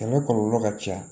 Sɛnɛ kɔlɔlɔ ka ca